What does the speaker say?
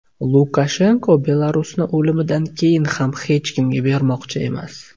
Lukashenko Belarusni o‘limidan keyin ham hech kimga bermoqchi emas.